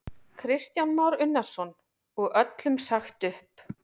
Kristján Már Unnarsson: Og öllum sagt upp?